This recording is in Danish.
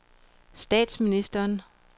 statsministeren